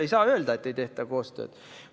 Ei saa öelda, et ei tehta koostööd.